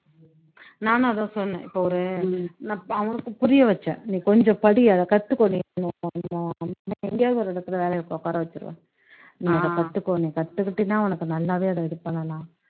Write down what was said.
நானும் அது தான் சொன்னேன் இப்போ ஒரு நான் அவனுக்கு புரிய வச்சேன் நீ கொஞ்சம் படி அதை கத்துக்கோ நீ எங்கேயாவது ஒரு இடத்துல வேலைக்கு உக்கார வச்சுருவேன் நீ அதை கத்துக்கோ நீ கத்துக்கிட்டீன்னா உனக்கு நல்லாவே அதை இது பண்ணலாம்